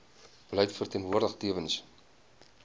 beleid verteenwoordig tewens